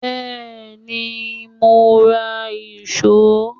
Bẹ́ẹ̀ni, mo ra ìṣó